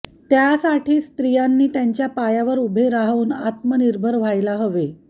त्यासाठी स्त्रियांनी त्यांच्या पायावर उभे राहून आत्मनिर्भर व्हायला हवे